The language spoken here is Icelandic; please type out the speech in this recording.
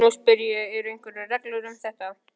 Nú spyr ég- eru einhverjar reglur um þetta?